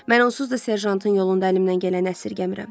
Mən onsuz da serjantın yolunda əlimdən gələni əsirgəmirəm.